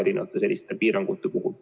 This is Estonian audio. Peeter Ernits, palun!